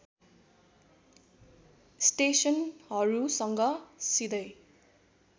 स्‍टेसनहरूसँग सिधै